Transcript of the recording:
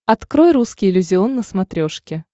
открой русский иллюзион на смотрешке